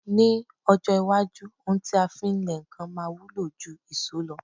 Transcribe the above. Ní ọjọ́ iwájú, ohun ti a fí ń lẹ nǹkan máa wúlò jú ìṣó lọ.